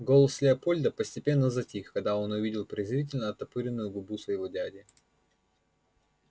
голос лепольда постепенно затих когда он увидел презрительно оттопыренную губу своего дяди